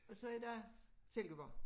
Og så er der Silkeborg